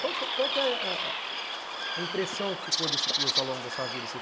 Qual que é qual que é a impressão que ficou desse curso ao longo da sua vida?